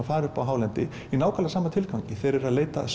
fara upp á hálendi í nákvæmlega sama tilgangi þeir eru að leita að